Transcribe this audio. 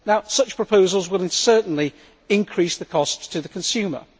Such proposals will certainly increase the cost to the consumer.